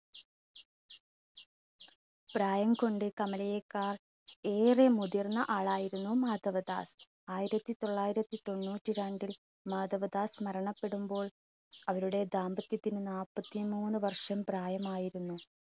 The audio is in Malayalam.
പ്രായം കൊണ്ട് കമലയെക്കാൾ ഏറെ മുതിർന്ന ആളായിരുന്നു മാധവദാസ്. ആയിരത്തിതൊള്ളായിരത്തി തൊണ്ണൂറ്റിരണ്ടിൽ മാധവദാസ് മരണപ്പെടുമ്പോൾ അവരുടെ ദാമ്പത്യത്തിന് നാല്പത്തി മൂന്ന് വർഷം പ്രായമായിരുന്നു.